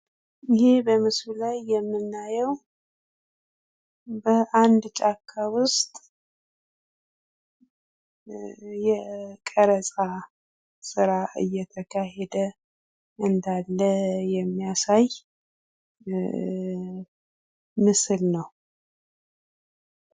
ይህ በምስሉ ላይ የምናየው በአንድ ጫካ ውስጥ የቀረፃ ስራ እየተካሄደ እንዳለ የሚያሳይ እ ምስል ነው።